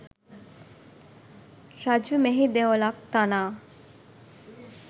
රජු මෙහි දෙවොලක් තනා